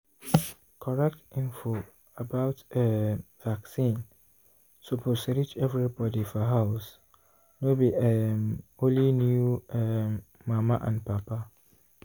correct info about um vaccine suppose reach everybody for house no be um only new um mama and papa.